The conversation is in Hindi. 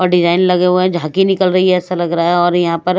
डिजाइन लगे हुए झांकी निकल रही है ऐसा लग रहा है और यहां पर--